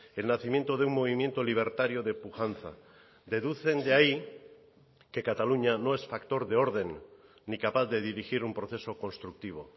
el nacimiento de un movimiento libertario de pujanza deducen de ahí que cataluña no es factor de orden ni capaz de dirigir un proceso constructivo